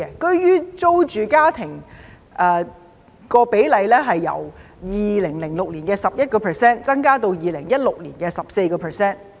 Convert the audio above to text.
居於租住居所的家庭比例由2006年的 11% 增至2016年的 14%。